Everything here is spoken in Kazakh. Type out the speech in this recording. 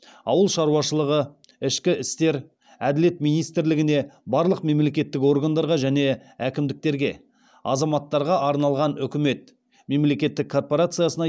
ауыл шаруашылығы ішкі істер әділет министрліктеріне барлық мемлекеттік органдарға және әкімдіктерге азаматтарға арналған үкімет мемлекеттік корпорациясына